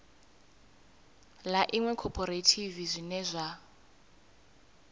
ḽa iṅwe khophorethivi zwine zwa